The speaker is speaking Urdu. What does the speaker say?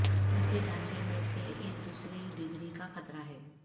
ایسی ڈھانچے میں سے ایک دوسری ڈگری کا خطرہ ہے